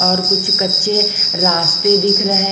और कुछ कच्चे रास्ते दिख रहे--